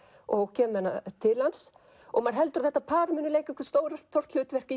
og kemur með hana til hans og maður heldur að parið muni leika stórt hlutverk